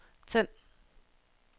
tænd